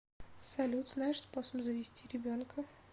салют знаешь способ завести ребенка